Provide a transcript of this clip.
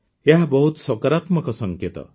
ଏହା ବହୁତ ସକାରାତ୍ମକ ସଙ୍କେତ